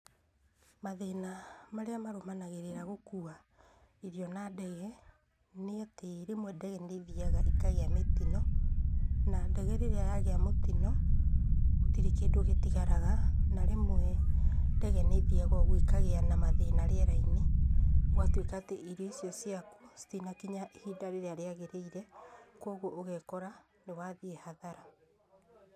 Mathĩna marĩa marũmanagĩrĩra na gũkua irio na ndege, nĩ atĩ rĩmwe ndege nĩ ithiaga ikagĩa mĩtino, na ndege rĩrĩa yagĩa mũtino, gũtirĩ kĩndũ gĩtigaraga, na rĩmwe ndege nĩ ithiaga ũguo ikagĩa na mathina rĩera-inĩ, gũgatwĩka atĩ irio icio ciaku citinakinya ihinda rĩrĩa rĩagĩrĩire, kũoguo ũgekora nĩ wathiĩ hathara.